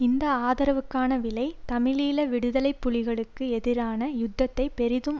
அந்த ஆதரவுக்கான விலை தமிழீழ விடுதலை புலிகளுக்கு எதிரான யுத்தத்தை பெரிதும்